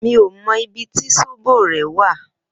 Mi ó mò ibi ti sóbó rè wà